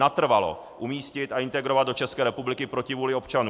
Natrvalo umístit a integrovat do České republiky proti vůli občanů.